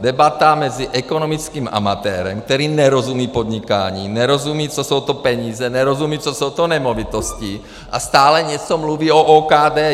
Debata mezi ekonomickým amatérem, který nerozumí podnikání, nerozumí, co jsou to peníze, nerozumí, co jsou to nemovitosti, a stále něco mluví o OKD.